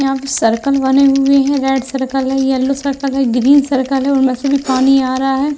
यहाँ पे सर्कल बने हुए है। रेड सर्कल है येलो सर्कल है ग्रीन सर्कल है। उनमें से भी पानी आ रहा है।